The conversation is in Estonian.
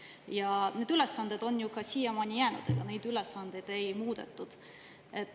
Ja need ülesanded on ju ka siiamaani jäänud, ega neid ülesandeid ei ole muudetud.